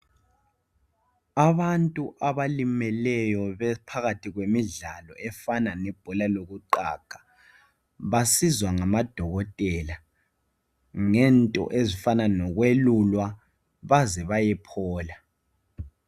Abantu abalimeleyo bephakathi kwemidlalo efana lebhola lokuqaga. Basizwa ngamadokotela ngento ezifana lokwelulwa baze bayephola.